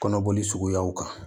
Kɔnɔboli suguyaw kan